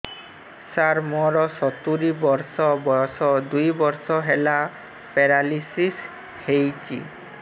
ସାର ମୋର ସତୂରୀ ବର୍ଷ ବୟସ ଦୁଇ ବର୍ଷ ହେଲା ପେରାଲିଶିଶ ହେଇଚି